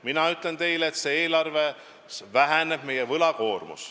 Mina ütlen teile, et meie võlakoormus väheneb.